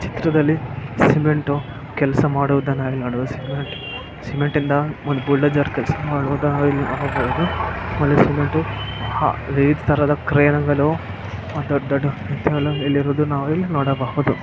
ಚಿತ್ರದಲ್ಲಿ ಸಿಮೆಂಟು ಕೆಲಸ ಮಾಡುವುದನ್ನು ನೋಡುವ ಸಿಮೆಂಟ್ ಸಿಮೆಂಟ್ ಇಂದ ಒಂದ್ ಬುಲ್ಡೋಜರ್ ಕೆಲಸ ಮಾಡುವಾಗ ಇಲ್ನೋಡಬೋದು ಒಳ್ಳೆ ಸಿಮೆಂಟು ಹಾ ಇತರದ ಕ್ರಯಾಂಗಲೋ ದೊಡ್ ದೊಡ್ಡ ಇಲ್ಲಿ ಇರೋದು ನಾವ್ ಇಲ್ಲಿ ನೋಡಬಹುದು.